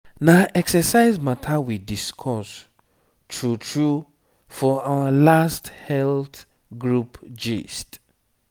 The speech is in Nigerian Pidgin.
na exercise matter we discuss true true for our last health group gist.